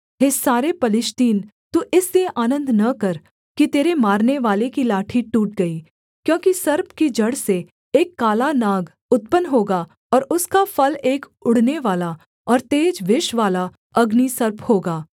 हे सारे पलिश्तीन तू इसलिए आनन्द न कर कि तेरे मारनेवाले की लाठी टूट गई क्योंकि सर्प की जड़ से एक काला नाग उत्पन्न होगा और उसका फल एक उड़नेवाला और तेज विषवाला अग्निसर्प होगा